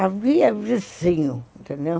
Havia vizinho, entendeu?